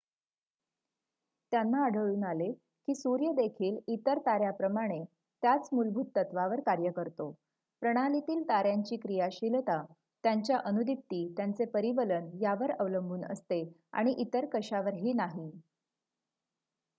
त्यांना आढळून आले की सूर्य देखील इतर तार्‍याप्रमाणे त्याच मुलभूत तत्त्वावर कार्य करतो प्रणालीतील ताऱ्यांची क्रियाशीलता त्यांच्या अनुदिप्ती त्यांचे परिवलन यावर अवलंबून असते आणि इतर कशावरही नाही